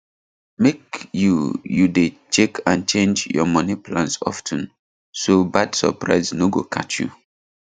make you you dey check and change your money plans of ten so bad surprise no go catch you